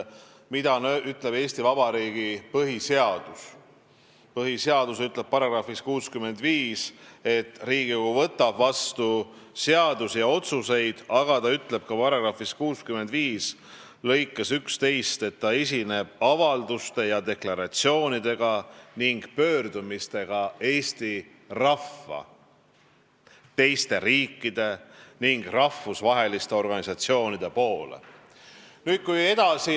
Eesti Vabariigi põhiseadus ütleb §-s 65, et Riigikogu võtab vastu seadusi ja otsuseid, aga ta ütleb ka §-s 65 lõikes 11, et Riigikogu esineb avalduste ja deklaratsioonidega ning pöördumistega Eesti rahva, teiste riikide ning rahvusvaheliste organisatsioonide poole.